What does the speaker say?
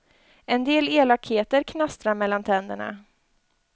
En del elakheter knastrar mellan tänderna.